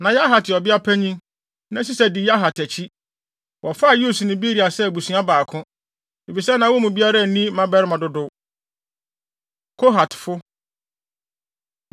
Na Yahat yɛ ɔbeapanyin, na Sisa di Yahat akyi. Wɔfaa Yeus ne Beria sɛ abusua baako, efisɛ na wɔn mu biara nni mmabarima dodow. Kohatfo